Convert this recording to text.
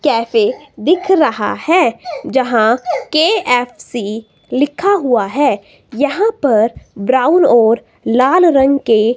cafe दिख रहा है जहां के_एफ_सी लिखा हुआ है यहां पर ब्राउन और लाल रंग के--